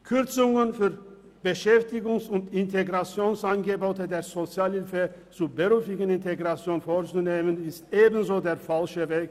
Kürzungen bei Beschäftigungs- und Integrationsangeboten der Sozialhilfe zur beruflichen Integration vorzunehmen ist ebenso der falsche Weg.